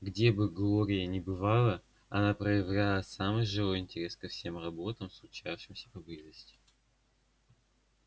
где бы глория ни бывала она проявляла самый живой интерес ко всем роботам случавшимся поблизости